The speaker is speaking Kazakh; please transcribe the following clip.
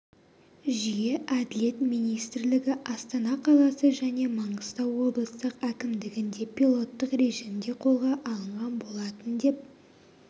жүйе әділет министрлігі астана қаласы және маңғыстау облыстық әкімдігінде пилоттық режимде қолға алынған болатын деп